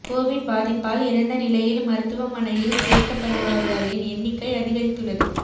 Covid பாதிப்பால் இறந்த நிலையில் மருத்துவமனையில் சேர்க்கப்படுவர்களின் எண்ணிக்கை அதிகரித்துள்ளது